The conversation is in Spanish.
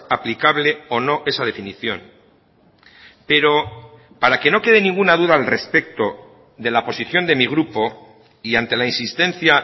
aplicable o no esa definición pero para que no quede ninguna duda al respecto de la posición de mi grupo y ante la insistencia